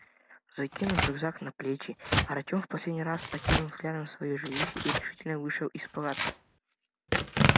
закинув рюкзак на плечи артём в последний раз окинув взглядом своё жилище и решительно вышел из палатки